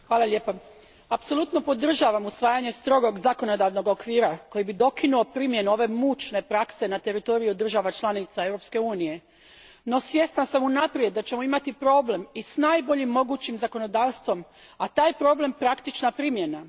Gospodine predsjedniče, apsolutno podržavam usvajanje strogog zakonodavnog okvira koji bi dokinuo primjenu ove mučne prakse na teritoriju država članica Europske unije. No, svjesna sam unaprijed da ćemo imati problem i s najboljim mogućim zakonodavstvom, a taj problem je praktična primjena.